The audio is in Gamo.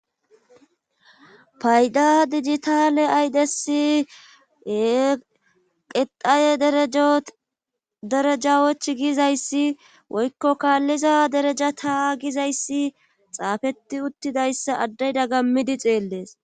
payda dijitale aydesie qexaye derejawoch gizayssi woykko kaalliza dereja ta gizayssi xaafeti uttidayssa addeyda gammidi xeellees